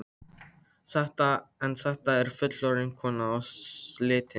En þetta er fullorðin kona og slitin.